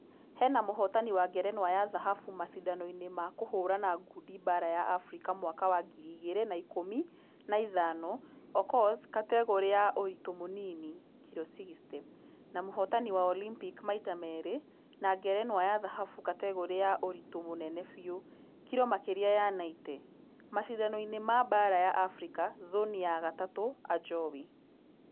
Hena mũhotani wa ngerenwa ya thahabu mashidano-inĩ ma kũhũrana ngundi baara ya africa mwaka wa ngiri igĩrĩ na ikũmi na ithano okoth kategore ya ũritũ mũnini (kiro 60). Na mũhotani wa Olympic maita merĩ na ngerenwa ya dhahabu kategore ya ũritũ mũnene biu(kiro makĩria ya 90)mashidano-inĩ ma baara ya africa zoni ya gatatũ ajowi.